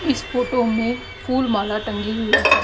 इस फोटो में फूल माला टंगी हुई--